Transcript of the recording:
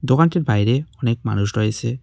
দোকানটির বাইরে অনেক মানুষ রয়েছে।